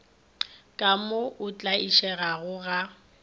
ka mo o tlaišegago ga